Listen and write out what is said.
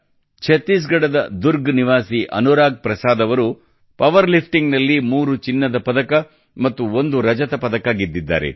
ಛತ್ತೀಸ್ ಗಢದ ದುರ್ಗ್ ನಿವಾಸಿ ಅನುರಾಗ್ ಪ್ರಸಾದ್ ಅವರು ಪವರ್ ಲಿಫ್ಟಿಂಗ್ ನಲ್ಲಿ ಮೂರು ಚಿನ್ನದ ಪದಕ ಮತ್ತು ಒಂದು ರಜತ ಪದಕ ಗೆದ್ದಿದ್ದಾರೆ